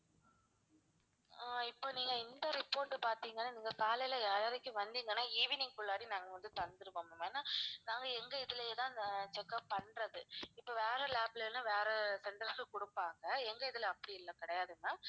ஆஹ் இப்ப நீங்க இந்த report பார்த்தீங்கன்னா நீங்க காலையில ஏழரைக்கு வந்தீங்கன்னா evening குள்ளாடி நாங்க வந்து தந்துருவோம் ma'am ஏன்னா நாங்க எங்க இதிலேயே தான் இந்த check up பண்றது இப்ப வேற lab ல எல்லாம் வேற centers கிட்ட கொடுப்பாங்க எங்க இதுல அப்படி எல்லாம் கிடையாது ma'am